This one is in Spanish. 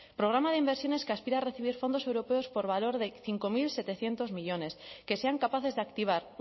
programa de inversiones que aspira a recibir fondos europeos por valor de cinco mil setecientos millónes que sean capaces de activar